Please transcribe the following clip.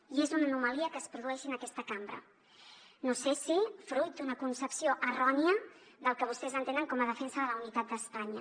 i és una anomalia que es produeixi en aquesta cambra no sé si fruit d’una concepció errònia del que vostès entenen com a defensa de la unitat d’espanya